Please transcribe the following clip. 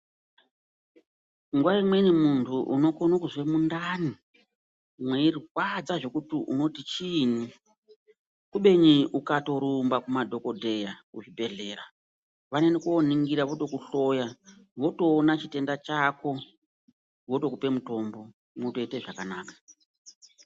Nguwa imweni muntu unokona kunzwa mundani meirwadza zvekuti unoti chinyi kubeni ukarumba kumadhokodheya kuzvibhedhlera vanoenda koningirwa votokuhloya votooona chitenda chako votoona chitenda zvotoita zvakanaka.